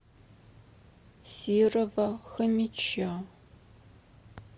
серого хомича